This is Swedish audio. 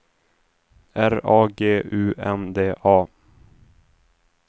R A G U N D A